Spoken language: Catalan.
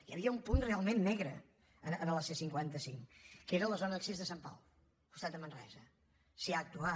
hi havia un punt realment negre a la c cinquanta cinc que era la zona d’accés de sant pau al costat de manresa s’hi ha actuat